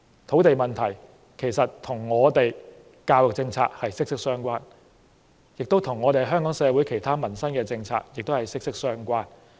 土地問題不但跟我們的教育政策息息相關，也跟香港社會其他民生政策息息相關。